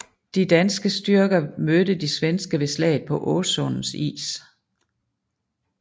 De danske styrker mødte de svenske ved slaget på Åsundens is